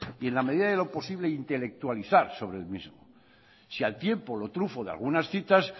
y en la medida de lo posible intelectualizar sobre el mismo si al tiempo lo trufo de algunas citas